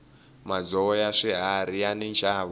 madzovo ya swiharhi yani nxavo